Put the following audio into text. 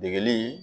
Degeli